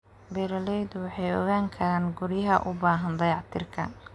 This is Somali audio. Beeraleydu waxay ogaan karaan guryaha u baahan dayactirka.